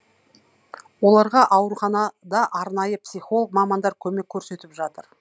оларға ауруханада арнайы психолог мамандар көмек көрсетіп жатыр